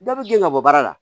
Dɔ bɛ gɛn ka bɔ baara la